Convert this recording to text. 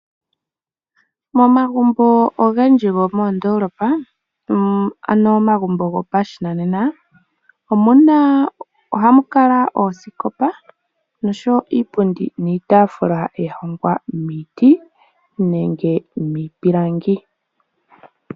Momagumbo ogendji gomoondoolopa ohamu kala oosikopa nosho iitafula ya hongwa miiti nenge miipilangi